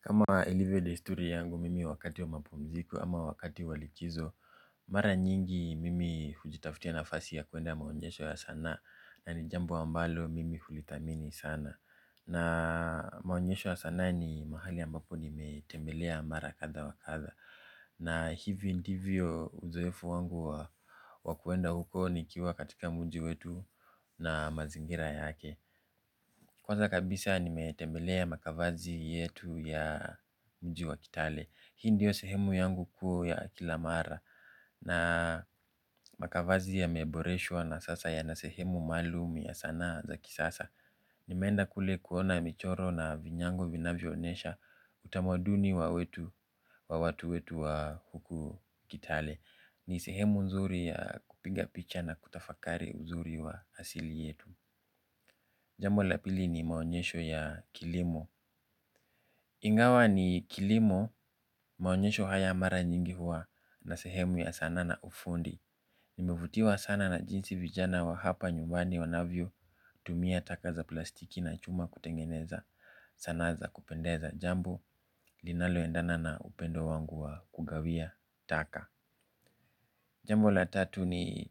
Kama ilivyo desturi yangu mimi wakati wa mapumziko ama wakati wa likizo. Mara nyingi mimi hujitafutia nafasi ya kuenda maonyesho ya sanaa yaani jambo ambalo mimi hulidhamini sana na maonyesho ya sanaa ni mahali ambapo nimetembelea mara kadha wa kadha. Na hivi ndivyo uzoefu wangu wa kuenda huko nikiwa katika mji wetu na mazingira yake kwanza kabisa nimetembelea makavazi yetu ya mji wetu wa kitale. Hii ndiyo sehemu yangu kuu ya kila mara na makavazi yameboreshwa na sasa yana sehemu maalum ya sanaa za kisasa. Nimeenda kule kuona michoro na vinyango vinavyoonyesha utamaduni wa wetu wa watu wetu wa huku kitale. Ni sehemu nzuri ya kupiga picha na kutafakari uzuri wa hasili yetu. Jambo la pili ni maonyesho ya kilimo. Ingawa ni kilimo maonyesho haya mara nyingi hua Na sehemu ya sanaa na ufundi. Nieivutiwa sana na jinsi vijana wa hapa nyumbani wanavyo tumia taka za plastiki na chuma kuteng'eneza sanaa za kupendeza jambo linalo endana na upendo wangu wa kugawia taka. Jambo la tatu ni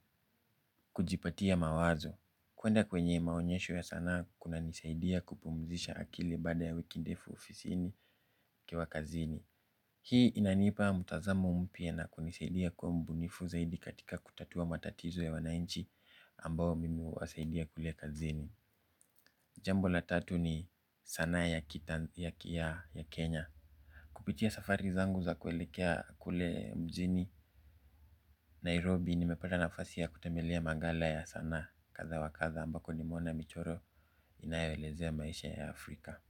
kujipatia mawazo. Kuenda kwenye maonyesho ya sana kunanisaidia kupumzisha akili baada ya wiki ndefu ofisini nikiwa kazini. Hii inanipa mtazamo mpya na kunisaidia kuwa mbunifu zaidi katika kutatua matatizo ya wananchi ambao mimi huwasaidia kule kazini. Jambo la tatu ni sanaa ya Kenya. Kupitia safari zangu za kuelekea kule mjini Nairobi nimepata nafasi kutembelea maghala ya sanaa kadha wa kadha ambako nimeona michoro inayoelezea maisha ya Afrika.